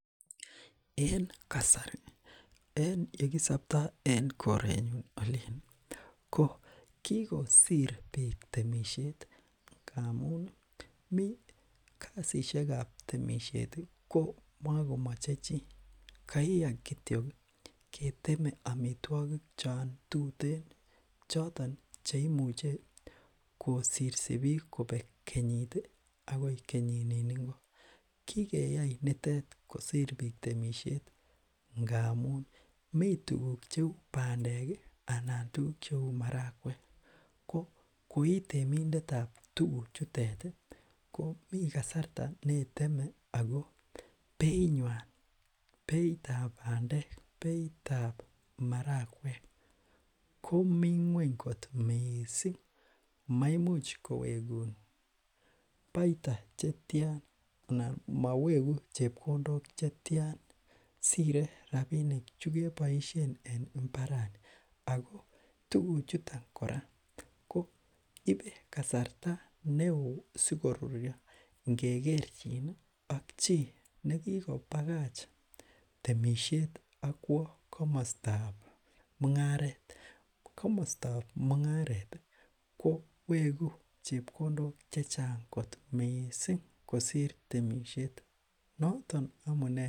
En kasari en ye kisopto en korenyun olin ii ko kikosir piik temisiet, ngamun mi kasisiekab temisiet ko makomoche chii, kaiya kityok ii keteme amitwogik cho tuten choton cheimuche kosirsi piik kobek kenyit ii akoi kenyinin ingo, kikeyai nitet kosir piik temisiet ngamun mi tukuk cheu bandek ii anan ko tukuk cheu marakwek ko koi temindetab tukuchitet ii, ko mi kasarta neiteme ako beinywan, beitab bandek, beitab marakwek komi nguny kot mising, maimuch kowekun baita che tian anan maweku chepkondok che tian, sire rabiinik chu keboisien en imbarani ako tukuchuton kora ko ibe kasarta ne oo sikoruryo ngekerchin ak chii ne kikobakach temisiet ak kwo komostab mungaret, komostab mungaret ii, ko weku chepkondok che chang kot mising kosir temisiet, noton amune.....